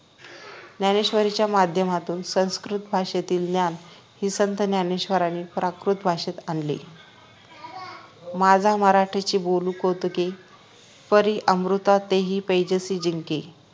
ज्ञानेश्वरीच्या माध्यमातून संस्कृत भाषेतील ज्ञान श्री संत ज्ञानेश्वरांनी प्राकृत भाषेत आणले माझा मराठीची बोलू कौतुके परी अमृतातेही पैजासी जिंके